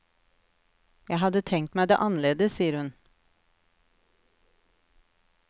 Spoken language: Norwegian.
Jeg hadde tenkt meg det annerledes, sier hun.